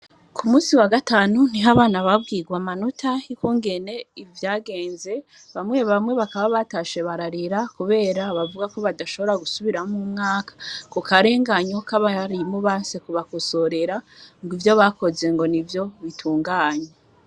Ku musi wa gatanu ntiho abana babwirwe amanota hikongene ivyagenze bamwe bamwe bakaba batashe bararira, kubera bavuga ko badashobora gusubiramwoumwaka ku karenganyok abayarimubanse kubakusorera ngo ivyo bakoze ngo ni vyo bitunganya.